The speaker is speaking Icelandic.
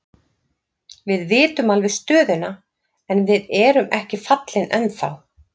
Við vitum alveg stöðuna en við erum ekki fallin ennþá.